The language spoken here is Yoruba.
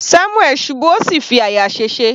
Samuel ṣubú ó sì fi àyà sèse.